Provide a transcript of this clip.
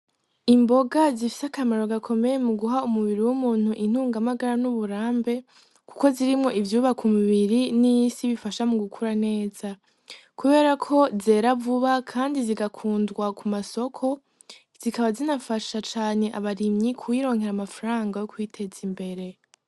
Imboga zifise akamaro gakomeye mu guha umubiri w'umuntu intungamagara n'uburambe, kuko zirimwo ivyuba ku mubiri n'isi bifasha mu gukura neza, kubera ko zera vuba, kandi zigakundwa ku masoko zikaba zinafasha cane abarimyi kuwironkera amafarango yo kwiteza imbere.